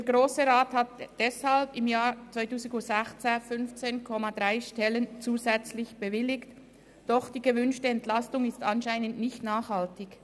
Der Grosse Rat bewilligte 2016 deshalb zusätzlich 15,3 Stellen, doch die gewünschte Entlastung ist anscheinend nicht nachhaltig.